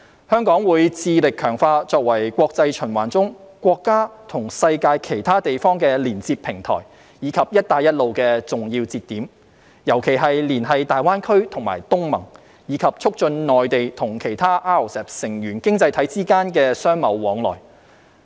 香港會致力強化作為國際循環中國家與世界其他地方的連接平台，以及"一帶一路"的重要節點，尤其是連繫大灣區和東盟，並促進內地和其他 RCEP 成員經濟體之間的商貿往來。